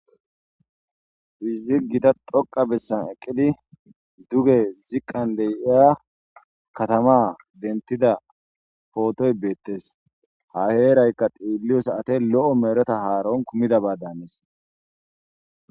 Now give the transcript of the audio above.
fizigida dhoqa bessan eqqidi duge ziqqan de7iya katama dentida phootoy beettes ha heerayka diilliyosaate lo7o mereta haaron kumidabaa danis